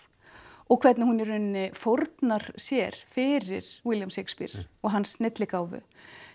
og hvernig hún í raun fórnar sér fyrir William Shakespeare og hans snilligáfu